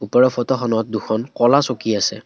ওপৰৰ ফটোখনত দুখন ক'লা চকী আছে।